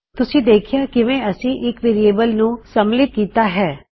ਤੁਸੀ ਦੇਖਿਆ ਕਿਵੇਂ ਅਸੀ ਇੱਕ ਵੇਅਰਿਏਬਲ ਨੂੰ ਸਮਲਿਤ ਕੀਤਾ ਹੈ